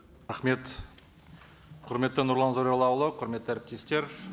рахмет құрметті нұрлан зайроллаұлы құрметті әріптестер